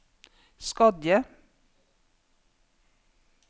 Skodje